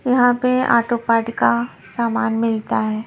यहाँ पे auto part का सामान मिलता है।